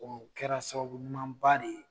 Dɔnku o kɛra sababu ɲumanba de ye